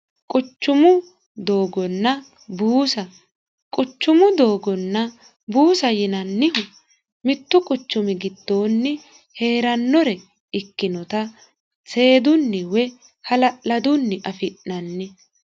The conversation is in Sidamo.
quchumu doogonna buusa quchumu doogonna buusa yinannihu mittu quchumi giddoonni heerannore ikkinota seedunni woy hala'ladunni afi'nanni